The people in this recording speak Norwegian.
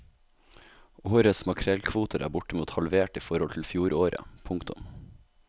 Årets makrellkvoter er bortimot halvert i forhold til fjoråret. punktum